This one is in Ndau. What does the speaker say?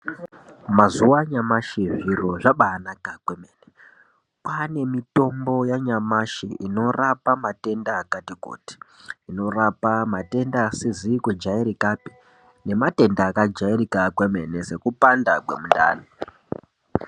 Mazuwaano anyamashi zviro zvabaanaka kwemene ,kwaane mitombo yanyamashi inorapa matenda akati kuti, inorapa matenda asizi kujairikapi, nematenda akajairika kwemene, sekupanda kwemundani.